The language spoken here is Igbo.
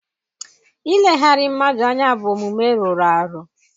Ileghara mmadụ anya bụ omume rụrụ arụ.